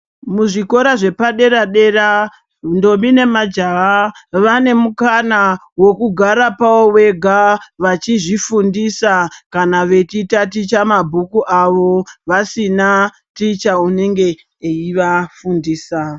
Muzvikora zvepadera dera ndombi nemajaha vane mukana we kugara pavo vega vachizvifundisa kana vachitaticha mabhuku avo vasina ticha unenge eivafundisa.